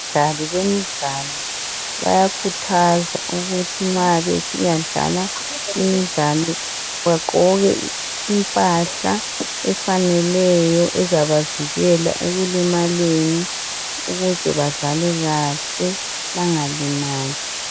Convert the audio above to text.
Abadlali bemidlalo bayakhuthazwa ukuthi nxa besiyadlala imidlalo baqgoke impahla efaneleyo ezabavikela ekulimaleni ukuze badlale kahle bengalimali.